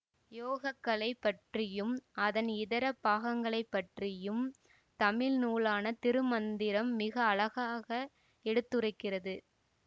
யோகக்கலை பற்றியும் அதன் இதர பாகங்களைபற்றியும் தமிழ் நூலான திருமந்திரம் மிக அழகாக எடுத்துரைக்கிறது